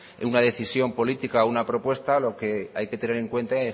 una decisión política una propuesta lo que hay que tener en cuenta